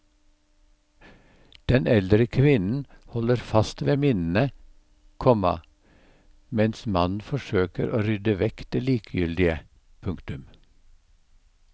Den eldre kvinnen holder fast ved minnene, komma mens mannen forsøker å rydde vekk det likegyldige. punktum